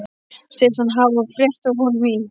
Segist hann hafa frétt af honum í